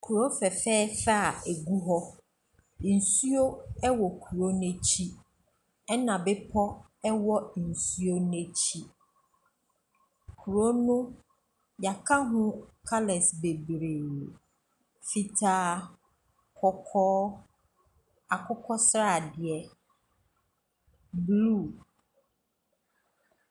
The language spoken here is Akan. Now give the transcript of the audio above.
Kuro fɛfɛɛfɛ a egu hɔ. Ensuo ɛwɔ kuro no akyi, ɛna bepɔ ɛwɔ ensuo n'akyi. Kuro no yaka ho kalɛs bebree, fitaa, kɔkɔɔ, akokɔ sradeɛ, bluu.